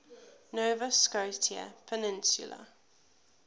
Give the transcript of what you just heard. nova scotia peninsula